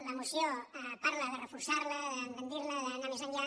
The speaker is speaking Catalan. la moció parla de reforçar la d’engrandir la d’anar més enllà